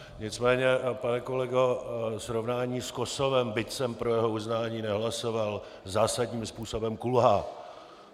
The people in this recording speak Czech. Nicméně, pane kolego, srovnání s Kosovem, byť jsem pro jeho uznání nehlasoval, zásadním způsobem kulhá.